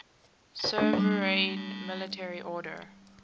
sovereign military order